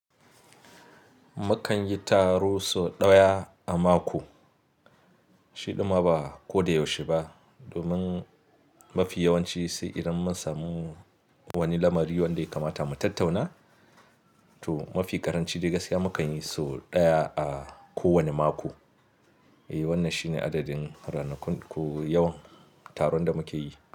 Mukan yi taro sau ɗaya a mako, shi ɗin ma ba ko da yaushe ba. Domin mafi yawanci sai idan mun samu wani lamari wanda ya kamata mu tattauna to mafi ƙaranci dai gaskiya mukan yi so ɗaya a kowane mako. Eh, wannan shine adadin ranakun ko yawan taron da muke yi.